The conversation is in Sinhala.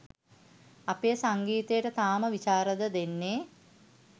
අපේ සංගීතයට තාම විශාරද දෙන්නේ